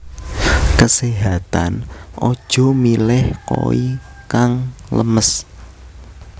Keséhatan aja milih koi kang lemes